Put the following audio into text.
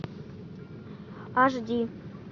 аш ди